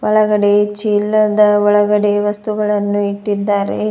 ಒಳಗಡೆ ಚೀಲದ ಒಳಗಡೆ ವಸ್ತುಗಳನ್ನು ಇಟ್ಟಿದ್ದಾರೆ.